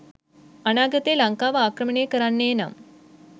අනාගතේ ලංකාව ආක්‍රමණය කරන්නේනම්